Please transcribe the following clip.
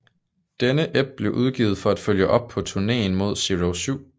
Denne ep blev udgivet for at følge op på turnéen med Zero 7